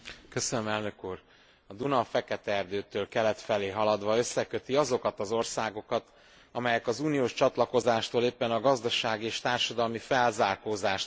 A Duna a Fekete erdőtől kelet felé haladva összeköti azokat az országokat, amelyek az uniós csatlakozástól éppen a gazdasági és társadalmi felzárkózást várták vagy várják.